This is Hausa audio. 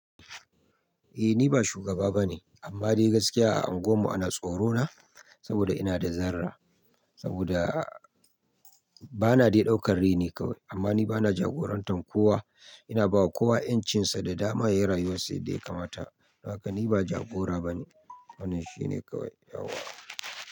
Eh ni ba shugaba bane amma dai gaskiya a unguwar mu ana tsorona saboda ina da zarra saboda bana dai daukar reni kawai amma ni bana jagorantar kowa. Ina bawa kowa 'yancinsa da dama yayi rayuwar sa yadda ya kamata. Don haka ni ba jagora bane wannan shine kawai yawa.